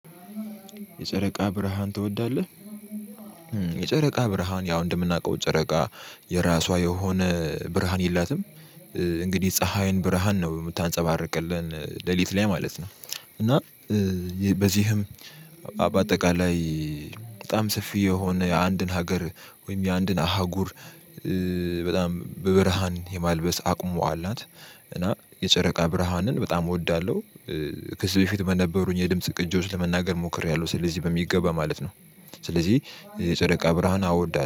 የጨረቃ ብርሃን ትወዳለህ? የጨረቃ ብርሃን ያው እንደምናውቀው ጨረቃ የራሷ የሆነ ብርሃን የላትም፤ እንግዲህ የፀሀይን ብርሃን ነው የምታንጸባርቅልን ሌሊት ላይ ማለት ነው፤ እና በዚህም በአጠቃላይ በጣም ሰፊ የሆነ የአንድን ሀገር ወይም የአንድን አህጉር በጣም በብርሃን የማልበስ አቅሙ አላት፤ እና የጨረቃ ብርሃንን በጣም እወዳለሁ፣ ከዚ በፊት በነበሩኝ የድምጽ ቅጆች ለመናገር ሞክሬያለሁ፤ ስለዚህ በሚገባ ማለት ነው ስለዚህ የጨረቃ ብርሃን አወዳለሁ።